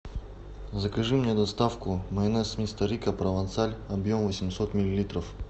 закажи мне доставку майонез мистер рикко провансаль объем восемьсот миллилитров